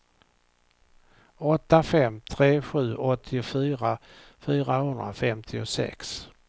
åtta fem tre sju åttiofyra fyrahundrafemtiosex